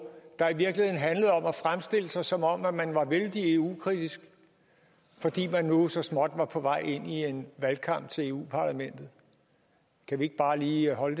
der i virkeligheden handlede om at fremstille sig som om man var vældig eu kritisk fordi man nu så småt var på vej ind i en valgkamp til eu parlamentet kan vi ikke bare lige holde